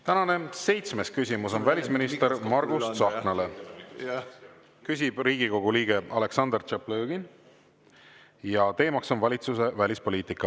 Tänane seitsmes küsimus on välisminister Margus Tsahknale, küsib Riigikogu liige Aleksandr Tšaplõgin ja teema on valitsuse välispoliitika.